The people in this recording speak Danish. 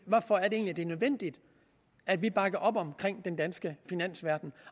egentlig er nødvendigt at vi bakker op omkring den danske finansverden